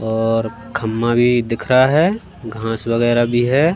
और खम्मा भी दिख रहा है घास वगैरा भी है।